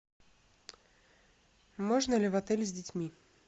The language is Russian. можно ли в отель с детьми